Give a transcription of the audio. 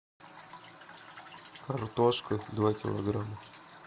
картошка два килограмма